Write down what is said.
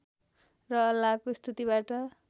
र अल्लाहको स्तुतिबाट